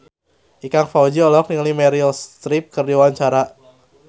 Ikang Fawzi olohok ningali Meryl Streep keur diwawancara